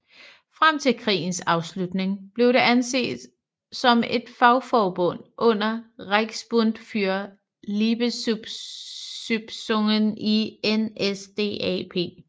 Frem til krigens afslutning blev det anset som et fagforbund under Reichsbund für Leibesübungen i NSDAP